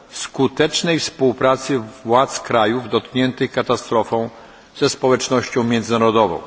skutecznej współpracy władz krajów dotkniętych katastrofą ze społecznością międzynarodową.